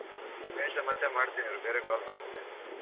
ಮಹೇಶ ಮತ್ತೆ ಮಾಡ್ತೀನಿ ಇರು ಬೇರೆ call ಬರ್ತಿದೆ.